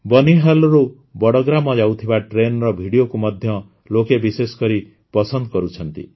ବନିହାଲରୁ ବଡ଼ଗାମ ଯାଉଥିବା ଟ୍ରେନର ଭିଡିଓକୁ ମଧ୍ୟ ଲୋକେ ବିଶେଷ କରି ପସନ୍ଦ କରୁଛନ୍ତି